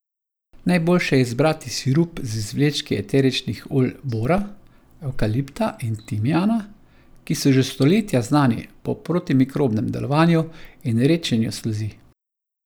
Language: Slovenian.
Najboljše je izbrati sirup z izvlečki eteričnih olj bora, evkalipta in timijana, ki so že stoletja znani po protimikrobnem delovanju in redčenju sluzi.